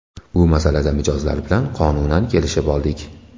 Bu masalada mijozlar bilan qonunan kelishib oldik.